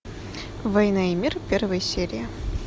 война и мир первая серия